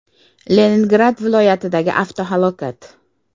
Leningrad viloyatidagi avtohalokat.